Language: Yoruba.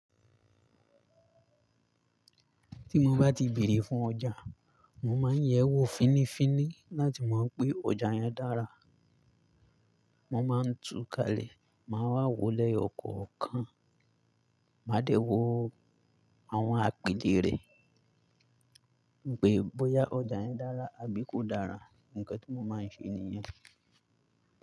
Tí mo bá ti bèrè fún ọjà, mo máa ń yẹ́ ẹ wò fínnífínní láti mọ̀ pé ọjà yẹn dára. Mo máa ń tu kalẹ̀, màá wà wò lẹ́yọ̀kọ̀ọ̀kan, máa dẹ̀ wò àwọn àpìlẹ̀ rẹ̀, pé bóyá ọjà yẹn dára àbí kò dára. Ǹkẹ́ tí mo máa ń ṣe ènìyàn.